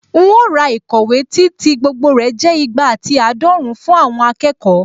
Un ó ra ìkọ̀wé tí tí gbogbo rẹ̀ jẹ́ ìgbà àti àádọ́run fún àwọn akẹ́kọ̀ọ́